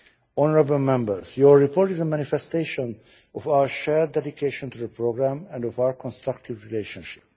Honourable Members, your report is a manifestation of our shared dedication to the programme and of our constructive relationship.